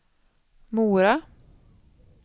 Mora